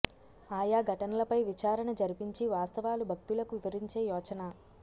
ఆయా ఘటనలపై విచారణ జరిపించి వాస్తవాలు భక్తులకు వివరించే యోచన